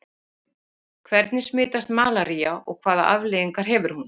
Hvernig smitast malaría og hvaða afleiðingar hefur hún?